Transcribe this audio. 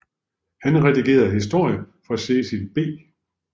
Han redigerede historier for Cecil B